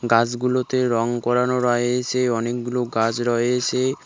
গাছগুলোতে রং করানো রয়েছে অনেকগুলো গাছ রয়েছে।